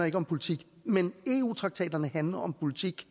ikke om politik men eu traktaterne handler om politik